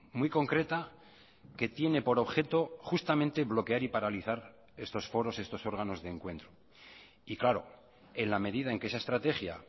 muy concreta que tiene por objeto justamente bloquear y paralizar estos foros estos órganos de encuentro y claro en la medida en que esa estrategia